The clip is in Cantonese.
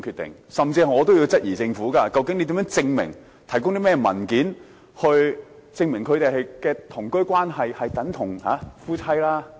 我甚至也質疑政府，究竟要提供甚麼文件或如何證明兩人的同居關係等同夫妻？